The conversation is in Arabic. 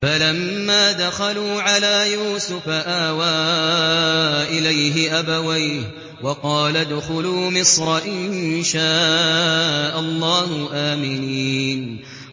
فَلَمَّا دَخَلُوا عَلَىٰ يُوسُفَ آوَىٰ إِلَيْهِ أَبَوَيْهِ وَقَالَ ادْخُلُوا مِصْرَ إِن شَاءَ اللَّهُ آمِنِينَ